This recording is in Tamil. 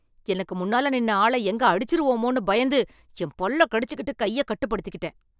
எனக்கு முன்னால நின்ன ஆள எங்க அடிச்சிருவோமோன்னு பயந்து என் பல்லை கடிச்சுக்கிட்டு கைய கட்டுப்படுத்திக்கிட்டேன்